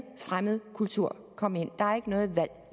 fremmed kultur komme ind der er ikke noget valg